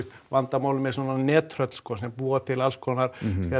vandamálið með svona nettröll sem sko búa til alls konar